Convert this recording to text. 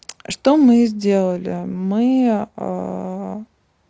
что мы сделали мы